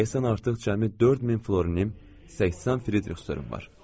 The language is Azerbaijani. Deyəsən artıq cəmi 4000 florinim, 80 Fridrix störmüm var.